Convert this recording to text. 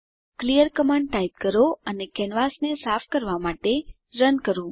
clear command type કરો અને કેનવાસને સાફ કરવાં માટે રન કરો